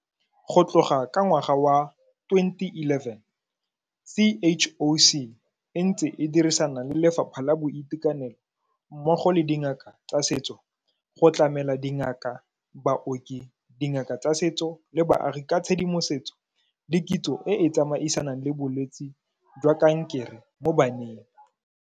Go tloga ka ngwaga wa 2011, CHOC e ntse e dirisana le Lefapha la Boitekanelo mmogo le dingaka tsa setso go tlamela dingaka, baoki, dingaka tsa setso le baagi ka tshedimosetso le kitso e e tsamaisanang le bolwetse jwa kankere mo baneng.